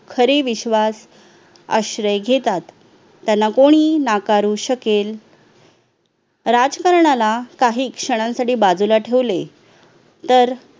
खरे विश्वास आश्रय घेतात त्याला कोणी नाकारू शकेल राजकारणाला काही क्षणांसाठी बाजूला ठेवले तर